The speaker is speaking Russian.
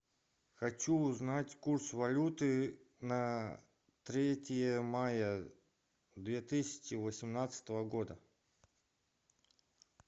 хочу узнать курс валюты на третье мая две тысячи восемнадцатого года